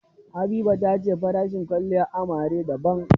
Habiba ta ce farashin kwalliyar amarya daban.